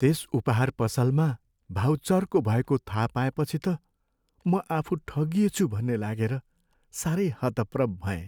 त्यस उपहार पसलमा भाउ चर्को भएको थाहा पाएपछि त म आफू ठगिएछु भन्ने लागेर सारै हतप्रभ भएँ।